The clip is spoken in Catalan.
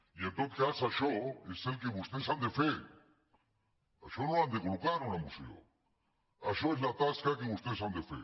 i en tot cas això és el que vostès han de fer això no ho han de col·locar en una moció això és la tasca que vostès han de fer